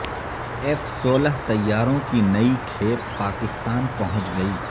F سولہ طیاروں کی نئی کھیپ پاکستان پہنچ گئی